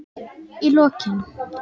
Í lokin.